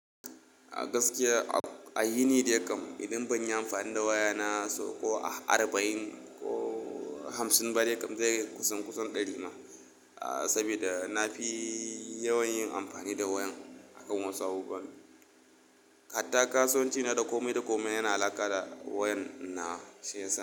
A gaskiya a yini da yakam idan banyi amfani da waya na sauko arba'in ko hamsin ba dai kam zai yi kusan kusan ɗari ma. Saboda nafi yawan yin amfani da wayan a kan Wasu abubuwan. Hata kasowanci na da komai da komai yana alaƙa da wayan na shayasa.